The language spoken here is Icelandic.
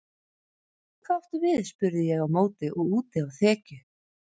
Hvað áttu við spurði ég á móti og úti á þekju.